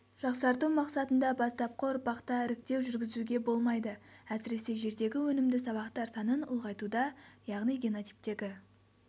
жақсарту мақсатында бастапқы ұрпақта іріктеу жүргізуге болмайды әсіресе жердегі өнімді сабақтар санын ұлғайтуда яғни генотиптегі